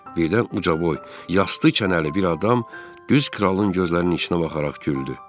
Birdən uca boy, yastı kənəli bir adam düz kralın gözlərinin içinə baxaraq güldü.